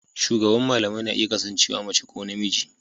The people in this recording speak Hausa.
Shugaban malamai na iya kasancewa mace ko namiji.